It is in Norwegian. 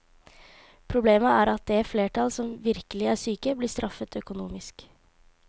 Problemet er at det flertall som virkelig er syke blir straffet økonomisk.